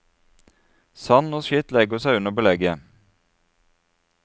Sand og skitt legger seg under belegget.